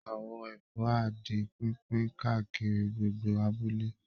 Àwọ̀n ẹ̀fọn á di pínpín káàkiri gbogbo abúlé